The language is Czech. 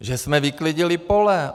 Že jsme vyklidili pole.